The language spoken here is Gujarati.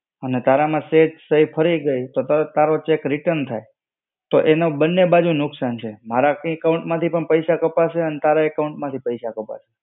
અને તારામાં સહી ફરી ગઈ તો તારો cheque return થાય. તો એમાં બન્ને બાજુ નુકસાન છે, મારા account માંથી પણ પૈસા કપાશે અને તારા account માંથી પૈસા કપાશે.